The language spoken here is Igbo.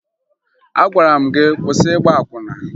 Agwara m gị kwụsị ịgba akwụna!